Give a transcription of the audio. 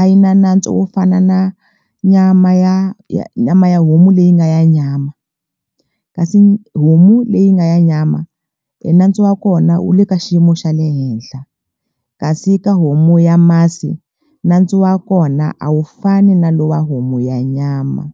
a yi na nantswo wo fana na nyama ya ya nyama ya homu leyi nga ya nyama kasi homu leyi nga ya nyama enantswo wa kona wu le ka xiyimo xa le henhla kasi ka homu ya masi nantswo wa kona a wu fani na lowa homu ya nyama.